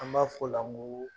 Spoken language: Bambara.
An b'a f'ɔ la ŋoo